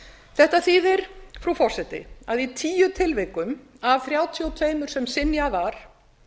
þetta þýðir frú forseti að í tíu tilvikum af þrjátíu og tvö sem synjað var